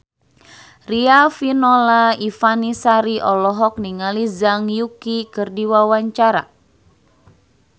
Riafinola Ifani Sari olohok ningali Zhang Yuqi keur diwawancara